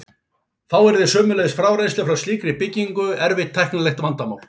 Þá yrði sömuleiðis frárennsli frá slíkri byggingu erfitt tæknilegt vandamál.